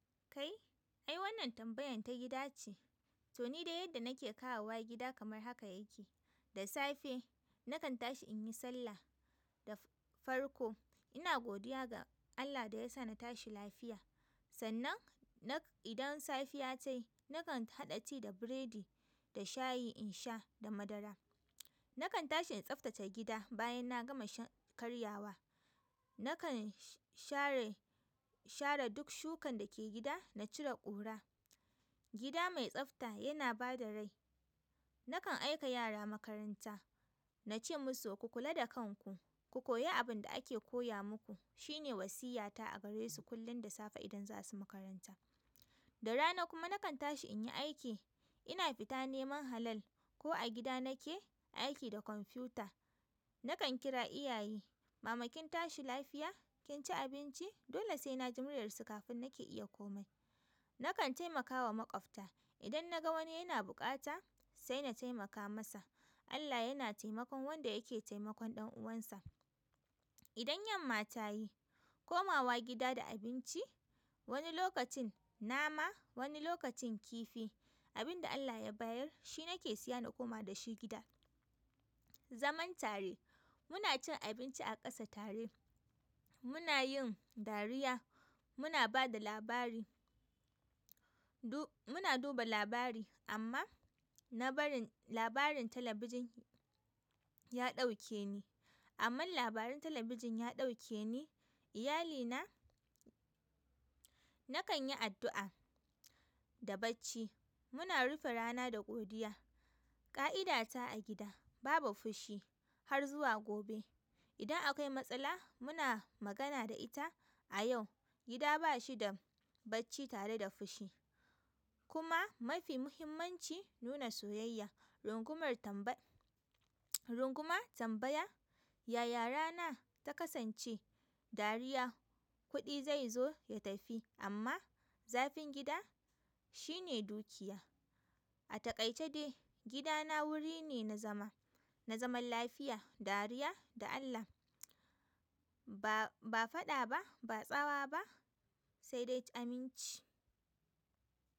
Kai, ai wannan tambayan ta gida ce. To ni de yadda nake kawo wa gida kamar haka yake. Da safe nakan tashi in yi sallah da farko. Ina godiya ga Allah da ya sa na tashi lafiya. Sannan nak idan safiya ta yi, nakan haɗa tea da biredi da shayi in sha da madara. Na kan tashi in tsaftace gida bayan na gama karyawa. Nakan share, share duk shukan da ke gida, na cire ƙura. Gida mai tsafta yana ba da rai. Nakan aika yara makaranta, na ce musu ku kula da kanku, ku koyi abin da ake koya muku. Shi ne wasiyata a garesu kullun da safe idan za su makaranta da rana kuma nakan tashi in yi aiki. Ina fita neman halal ko a gida nake aiki da computer. Nakan kira iyaye, mama kin tashi lafiya? Kin ci abinci? Dole sai na ji murya su kafin nake iya komai. Nakan taimakawa maƙwabta. Idan na ga wani yana buƙata, sai na taimaka masa. Allah yana taimakon wanda yake taimakon ɗan'uwansa. Idan yamma ta yi, komawa gida da abinci. Wani lokacin nama, wani lokacin kifi. Abin da Allah ya bayar shi nake siya na koma da shi gida. Zaman tare, muna cin abinci a ƙasa tare. Muna yin dariya, muna ba da labari, du muna duba labari amma na barin labarin talabijin ya ɗauke ni. Amma labaran talabijin ya ɗauke ni. Iyali na, nakan yi addu'a da bacci. Muna rufe rana da godiya. Ka'idata a gida babu fushi har zuwa gobe. Idan akwai matsala, muna magana da ita a yau. Gida ba shi da bacci tare da fushi. Kuma mafi muhimmanci nuna soyayya. Rungumar tamba runguma tambaya. Yaya rana ta kasance dariya. Kuɗi zai zo ya tafi amma zafin gida shine dukiya. A taƙaice dai, gidana wuri ne na zama, na zaman lafiya, dariya da Allah. Ba, ba faɗa ba, ba tsawa ba sai dai aminci.